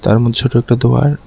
তার মধ্যে ছোট একটা দোয়ার।